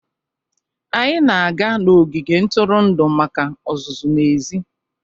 Anyị na-aga n'ogige ntụrụndụ maka ọzụzụ n'èzí.